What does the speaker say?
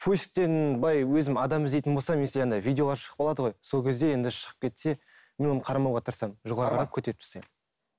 поисктен былай өзім адам іздейтін болсам если андай видеолар шығып қалады ғой сол кезде енді шығып кетсе мен оны қарамауға тырысамын